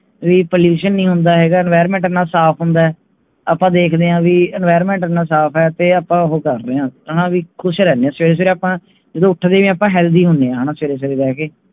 Repollution ਨਹੀਂ ਹੁੰਦਾ Enviroment ਇਹਨਾਂ ਸਾਫ ਹੁੰਦਾ ਹੈ ਆਪ ਦੇਖਦੇ ਹੈ ਕਿ Enviroment ਇਹਨਾਂ ਸਾਫ ਹੁੰਦਾ ਤੇ ਆਪ ਹਉ ਕਕਰ ਰਹੇ ਹੈ ਖੁਸ਼ ਰਹਿਣੇ ਹੈ ਹਾਣਾ ਜਦੋ ਉਠਦੇ ਵੀ ਆਪ Healthy ਹੁਣੇ